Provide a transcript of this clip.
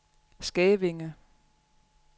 Skævinge